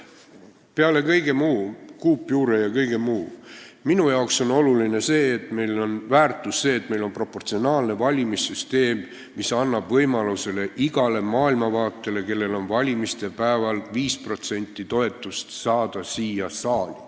Peale kõige muu, peale kuupjuure ja kõige muu on minu arvates oluline see väärtus, et meil on proportsionaalne valimissüsteem, mis annab võimaluse iga maailmavaate esindajatele, kellel on valimiste päeval viis protsenti toetust, siia saali saada.